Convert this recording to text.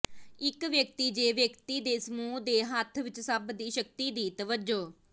ਇੱਕ ਵਿਅਕਤੀ ਜ ਵਿਅਕਤੀ ਦੇ ਸਮੂਹ ਦੇ ਹੱਥ ਵਿੱਚ ਸਭ ਦੀ ਸ਼ਕਤੀ ਦੀ ਤਵੱਜੋ